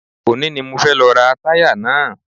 Òní ni mo fẹ́ lọ ra táyà náà